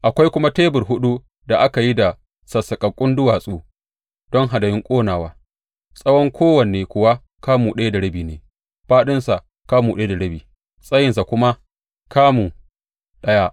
Akwai kuma tebur huɗu da aka yi da sassaƙaƙƙun duwatsu don hadayun ƙonawa, tsawon kowanne kuwa kamu ɗaya da rabi ne, fāɗinsa kamu ɗaya da rabi, tsayinsa kuma kamu ɗaya.